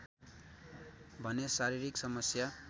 भने शारीरिक समस्या